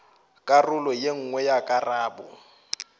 karolo ye nngwe ya karabo